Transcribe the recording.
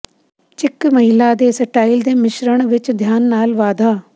ਚਿਕ ਮਹਿਲਾ ਦੇ ਸਟਾਈਲ ਦੇ ਮਿਸ਼ਰਣ ਵਿਚ ਧਿਆਨ ਨਾਲ ਵਾਧਾ